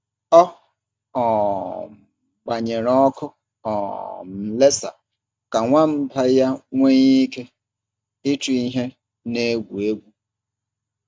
Ọ um gbanyere ọkụ um laser ka nwamba ya nwee ike ịchụ ihe na-egwu egwu.